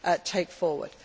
we need to take